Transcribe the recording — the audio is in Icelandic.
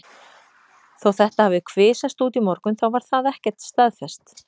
Þó þetta hafi kvisast út í morgun þá var það ekkert staðfest.